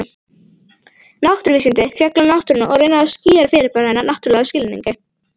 Náttúruvísindi fjalla um náttúruna og reyna að skýra fyrirbæri hennar náttúrlegum skilningi.